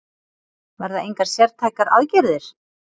Verða engar sértækar aðgerðir